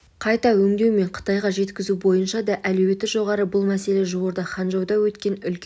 қайта өңдеу мен қытайға жеткізу бойынша да әлеуеті жоғары бұл мәселе жуырда ханчжоуда өткен үлкен